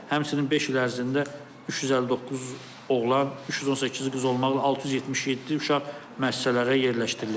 Həmçinin beş il ərzində 359 oğlan, 318 qız olmaqla 677 uşaq müəssisələrə yerləşdirilib.